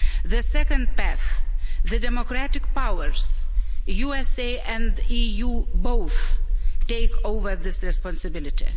The second path, the democratic powers USA and EU both take over this responsibility.